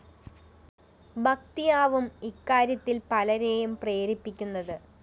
ഭക്തിയാവും ഇക്കാര്യത്തില്‍ പലരേയും പ്രേരിപ്പിക്കുന്നത്